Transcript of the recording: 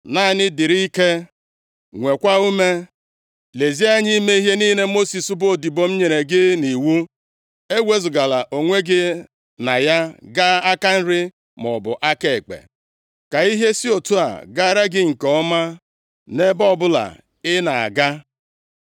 “Naanị dịrị ike, nweekwa ume. Lezie anya ime ihe niile Mosis bụ odibo m nyere gị nʼiwu. Ewezugala onwe gị na ya gaa aka nri maọbụ aka ekpe, ka ihe si otu a gaara gị nke ọma nʼebe ọbụla ị na-aga.